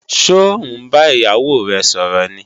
Ṣó ń bá ìyàwó rẹ̀ sọ̀rọ̀ ni?